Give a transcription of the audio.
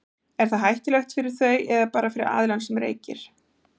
er það hættulegt fyrir þau eða bara fyrir aðilann sem reykir